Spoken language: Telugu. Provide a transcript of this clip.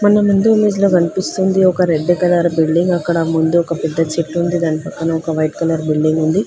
మన ముందు ఇమేజ్ లో గన్పిస్తుంది ఒక రెడ్డు కలర్ బిల్డింగ్ అక్కడ ముందు ఒక పెద్ద చెట్టుంది దానిపక్కన ఒక వైట్ కలర్ బిల్డింగుంది .